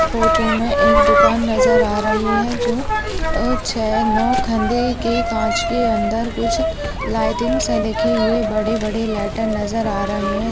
इस फोटो में एक दुकान नजर आ रही है जो अ छै नौ खंदे के कांच के अंदर कुछ लाइटिंग हैं लगे हुए बड़े-बड़े लेटर नजर आ रहें हैं।